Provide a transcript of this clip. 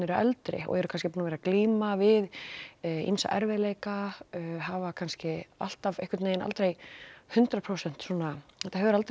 eldri og eru kannski búin að vera að glíma við ýmsa erfiðleika hafa kannski alltaf einhvern veginn aldrei hundrað prósent svona þetta hefur aldrei